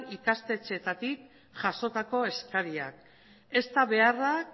ikastetxeetatik jasotako eskariak ezta beharrak